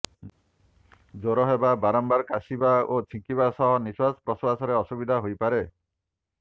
ଜ୍ୱର ହେବା ବାରମ୍ବାର କାଶିବା ଓ ଛିଙ୍କିବା ସହ ନିଶ୍ୱାସ ପ୍ରଶ୍ୱାସରେ ଅସୁବିଧା ହୋଇପାରେ